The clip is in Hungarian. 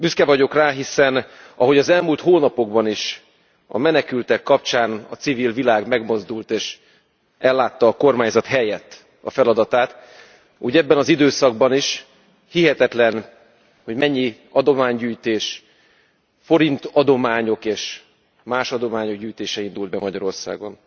Büszke vagyok rá, hiszen, ahogy az elmúlt hónapokban is a menekültek kapcsán a civil világ megmozdult és ellátta a kormányzat helyett a feladatát, úgy ebben az időszakban is hihetetlen, hogy mennyi adománygyűjtés, forintadományok és más adományok gyűjtése indult be Magyarországon.